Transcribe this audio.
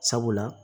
Sabula